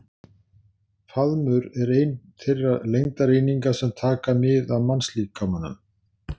Faðmur er ein þeirra lengdareininga sem taka mið af mannslíkamanum.